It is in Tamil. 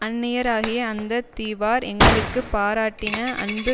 அந்நியராகிய அந்த தீவார் எங்களுக்கு பாராட்டின அன்பு